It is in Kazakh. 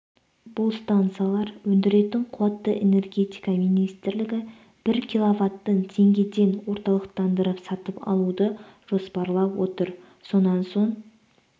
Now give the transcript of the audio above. бұл станциялар өндіретін қуатты энергетика министрлігі бір киловаттын теңгеден орталықтандырып сатып алуды жоспарлап отыр сонан соң